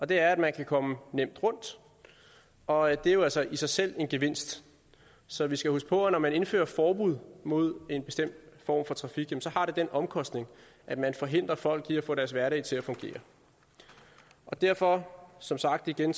det er at man kan komme nemt rundt og det er jo altså i sig selv en gevinst så vi skal huske på at når man indfører forbud imod en bestemt form for trafik har det den omkostning at man forhindrer folk i at få deres hverdag til at fungere derfor som sagt igen